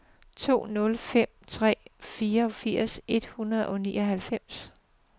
to nul fem tre fireogfirs et hundrede og nioghalvfems